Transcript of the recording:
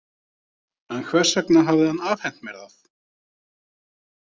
En hvers vegna hafði hann afhent mér það?